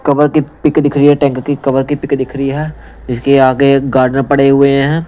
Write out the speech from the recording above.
Cover की pic दिख रही है टैंक की कवर की पिक दिख रही है इसके आगे गार्डन पड़े हुए हैं।